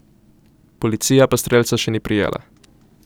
Policija pa strelca še ni prijela.